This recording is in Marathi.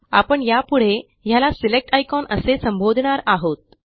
आपण यापुढे ह्याला सिलेक्ट आयकॉन असे संबोधणार आहोत